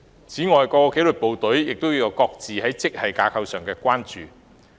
此外，各紀律部隊亦各自就本身的職系架構有所關注。